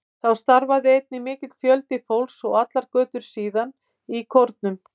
Þá starfaði einnig mikill fjöldi fólks, og allar götur síðan, í kórum.